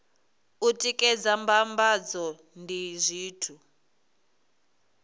u tikedza mbambadzo ndi zwithu